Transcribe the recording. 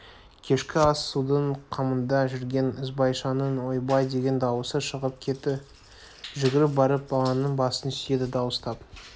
кешкі ас-судың қамында жүрген ізбайшаның ойбай деген дауысы шығып кетті жүгіріп барып баланың басын сүйеді дауыстап